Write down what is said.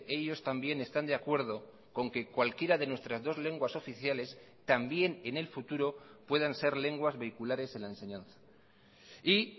ellos también están de acuerdo con que cualquiera de nuestras dos lenguas oficiales también en el futuro puedan ser lenguas vehiculares en la enseñanza y